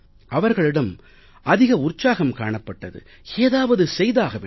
அவர்களிடம் அதிக உற்சாகம் காணப்பட்டது ஏதாவது செய்தாக வேண்டும்